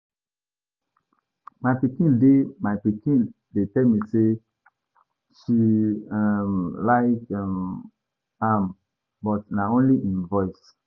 My pikin dey My pikin dey tell me say she um like um am but na only im voice.